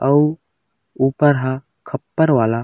अऊ ऊपर ह खप्पर वाला --